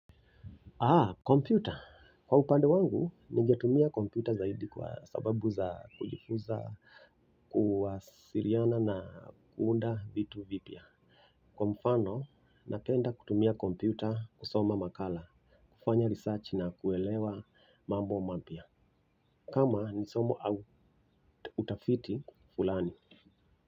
Ah, kompyuta. Kwa upande wangu, nigetumia kompyuta zaidi kwa sababu za kujifuza, kuwasiliana na kuunda vitu vipya. Kwa mfano, napenda kutumia kompyuta, kusoma makala, kufanya research na kuelewa mambo mapya. Kama, ni somo au utafiti fulani.